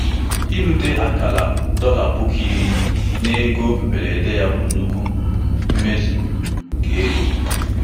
Mgbe afọ ise um nke mmefu ọzụzụ gasịrị, Ọ um gafere ihe um mgbaru ọsọ nchekwa ego ya nchekwa ego ya site na oke dị mkpa.